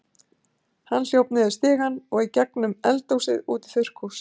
Hann hljóp niður stigann og í gegnum eldhúsið út í þurrkhús.